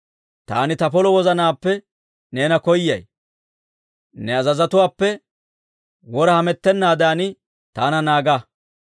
Taani ta polo wozanaappe neena koyay; ne azazotuwaappe wora hamettennaadan taana naaga.